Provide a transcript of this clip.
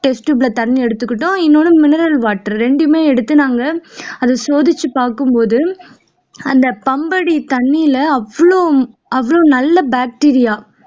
test tube ல தண்ணி எடுத்துகிட்டோம் இன்னொன்னு mineral water ரெண்டுமே எடுத்து நாங்க அதை சோதிச்சு பாக்கும்போது அந்த பம்படி தண்ணில அவ்ளோ அவ்ளோ நல்ல bacteria